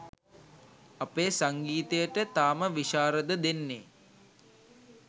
අපේ සංගීතයට තාම විශාරද දෙන්නේ